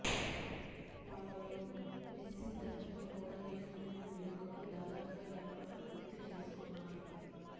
మరోవైపు మెస్సీ దంపతులు కూడా ఈ ఘనమైన వేడుకకు దాదాపుగా ఏర్పాట్లు పూర్తి చేసుకున్నారు